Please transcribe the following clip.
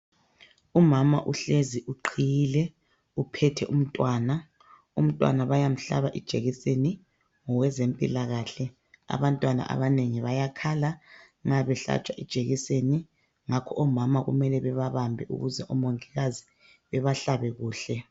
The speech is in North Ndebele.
Umama uhlezi uqhiyile, uphethe umntwana. Umntwana bayamhlaba ijekiseni ngowezempilakahle. Abantwana abanengi bayakhala nxa behlatshwa ijekiseni, ngakho omama kumele bebabambe ukuze omongikazi bebahlabe kuhle.